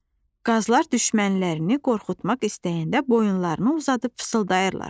Qazlar düşmənlərini qorxutmaq istəyəndə boyunlarını uzadıb fısıldayırlar.